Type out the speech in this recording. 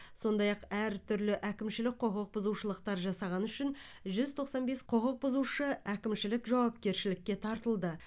сондай ақ әртүрлі әкімшілік құқық бұзушылықтар жасағаны үшін жүз тоқсан бес құқық бұзушы әкімшілік жауапкершілікке тартылды